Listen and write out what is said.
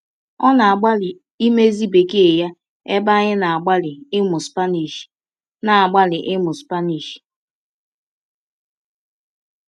Ọ na-agbalị imezi bekee ya ebe anyị na-agbalị ịmụ Spanish. na-agbalị ịmụ Spanish.